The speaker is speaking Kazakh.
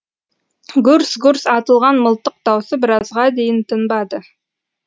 гүрс гүрс атылған мылтық даусы біразға дейін тынбады